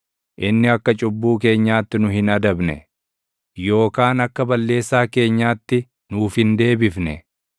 inni akka cubbuu keenyaatti nu hin adabne; yookaan akka balleessaa keenyaatti nuuf hin deebifne.